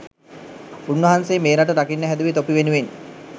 උන් වහන්සේ මේ රට රකින්න හැදුවෙ තොපි වෙනුවෙන්.